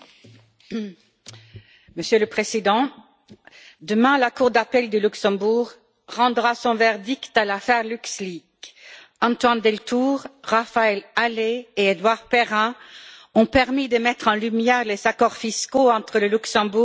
Monsieur le Président, demain, la cour d'appel de Luxembourg rendra son verdict dans l'affaire Luxleaks. Antoine Deltour, Raphaël Halet et Édouard Perrin ont permis de mettre en lumière les accords fiscaux entre le Luxembourg et les grandes entreprises.